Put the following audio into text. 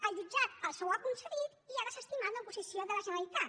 el jutjat els ho ha concedit i ha desestimat l’oposició de la generalitat